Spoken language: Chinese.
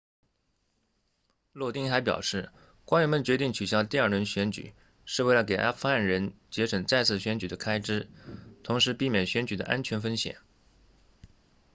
洛丁 lodin 还表示官员们决定取消第二轮选举是为了给阿富汗人节省再次选举的开支同时避免选举的安全风险